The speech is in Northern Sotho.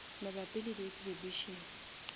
mabapi le di exhibition